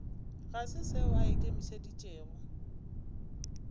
ga se seo a ikemišeditšego